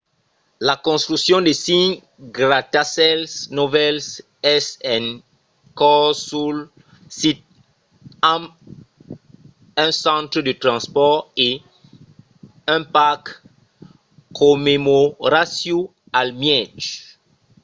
la construccion de cinc gratacèls novèls es en cors sul sit amb un centre de transpòrt e un parc commemoratiu al mièg